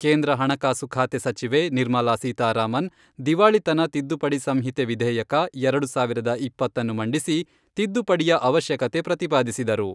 ಕೇಂದ್ರ ಹಣಕಾಸು ಖಾತೆ ಸಚಿವೆ ನಿರ್ಮಲಾ ಸೀತಾರಾಮನ್, ದಿವಾಳಿತನ ತಿದ್ದುಪಡಿ ಸಂಹಿತೆ ವಿಧೇಯಕ, ಎರಡು ಸಾವಿರದ ಇಪ್ಪತ್ತನ್ನು ಮಂಡಿಸಿ, ತಿದ್ದುಪಡಿಯ ಅವಶ್ಯಕತೆ ಪ್ರತಿಪಾದಿಸಿದರು.